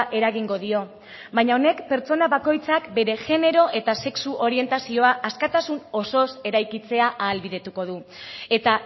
eragingo dio baina honek pertsona bakoitzak bere genero eta sexu orientazioa askatasun osoz eraikitzea ahalbidetuko du eta